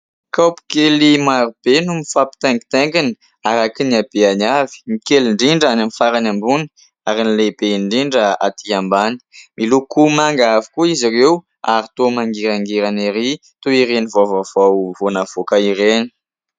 Kaopy kely marobe no mifampitaingitaingina araka ny habeny avy, ny kely indrindra any amin'ny farany ambony ary ny lehibe indrindra atỳ ambany. Miloko manga avokoa izy ireo ary toa mangirangirana erỳ toy ireny vao vaovao vao navoaka ireny.